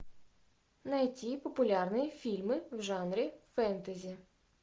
найти популярные фильмы в жанре фэнтези